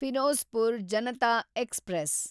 Firozpur Janata express